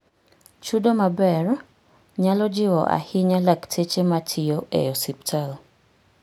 Chudo maber nyalo jiwo ahinya lakteche matiyo e osiptal